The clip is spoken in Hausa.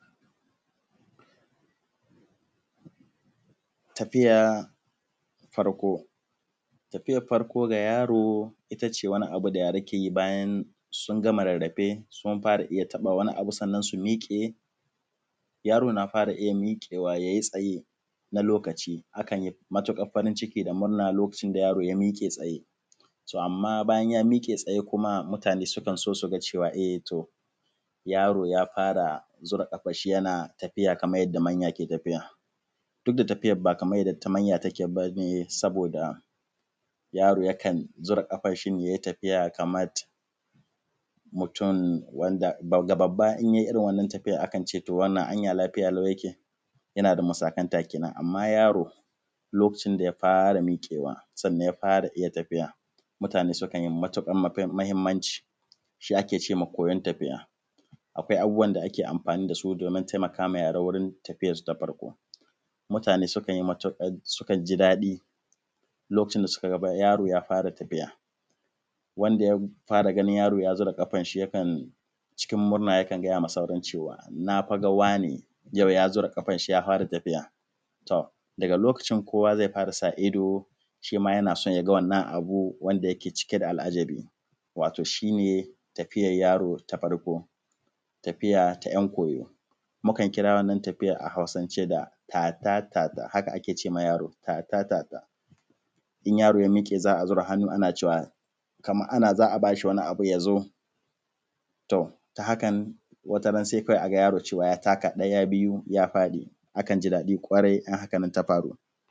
Tafiya farko, tafiyar farko ga yaro ita ce farko da yara ke yi bayan sun gama rarrafe sun fara iya taɓa wani abu sannan su miƙe, yaro na fara iya miƙewa ya yi tsaye na wani lokaci akan yi matukar farinciki da murna lokacin da yaro ya miƙe tsaye. To, amman bayan ya miƙe tsaye kuma mutane su kan so su ga cewa yaro ya fara zura kafan shi yana tafiya kaman yanda manya ke tafiya, duk da tafiyar ba kamar yanda na manya take ba, saboda yaro yakan zura kafan shi ya yi tafiya kaman mutum da babba ya yi irin wannan tafiyan akan ce an ya wannan lafiya yake yana da masakanta. Kenan, amma yaro lokacin da ya fara miƙewa sannan ya fara tafiya mutane su kan yi matuƙar mahimmanci shi ake ce ma koyan tafiya. Akwai abubuwan da ake amfani da su domin wurin taimaka ma yara domin tafiyarsu na farko mutane sukan ji daɗi lokacin da suka ga yaro ya fara tafiya, wanda ya fara ganin yaro ya zira kafan shi cikin murna yakan gaya ma sauran cewa na fa ga wane da kafan shi ya fara tafiya. Tom daga lokacin kowa zai fara sa ido shi ma yana so ya ga wannan abu wanda yake cike da al’ajabi wato shi ne tafiyar yaro ta farko, tafiya ta yan koyo mukan kira wannan tafiyan a Hausance tatatata. Haka ake ce ma yaro in yaro ya miƙe za a zira hannu ana cewa kaman ana za a ba shi wani abu ya zo, to hakan wataran sai a ga yaro ya taka ɗaya biyu ya faɗi akan ji daɗi sosai in hakan ta faru.